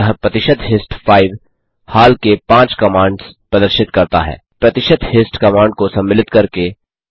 अतः प्रतिशत हिस्ट 5 हाल के 5 कमांड्स प्रदर्शित करता है प्रतिशत हिस्ट कमांड को सम्मिलित करके